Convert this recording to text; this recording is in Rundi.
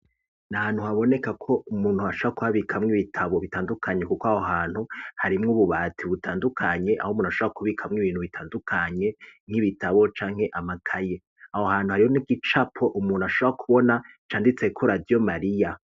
Na hantu haboneka ko umuntu ashobora kuhabikamwo ibitabo bitandukanye, kuko aho hantu harimwo ububati butandukanye, aho umuntu ashobora kubikamwo ibintu bitandukanye nk'ibitabo canke amakaye, aho hantu hariho n'igicapo umuntu ashobora kubona canditseko radiyo mariya.